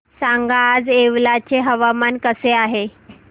सांगा आज येवला चे हवामान कसे आहे